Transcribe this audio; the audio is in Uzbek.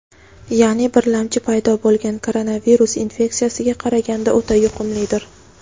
ya’ni birlamchi paydo bo‘lgan koronavirus infeksiyasiga qaraganda o‘ta yuqumlidir.